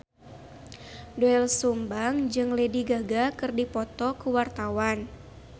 Doel Sumbang jeung Lady Gaga keur dipoto ku wartawan